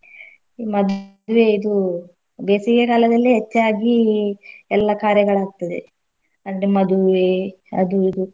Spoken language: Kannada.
ಮದ್ವೇದು ಬೇಸಿಗೆ ಕಾಲದಲ್ಲೇ ಹೆಚ್ಚಾಗಿ ಎಲ್ಲ ಕಾರ್ಯಗಳಾಗ್ತದೇ ಅಂದ್ರೆ ಮದುವೆ ಅದು ಇದು.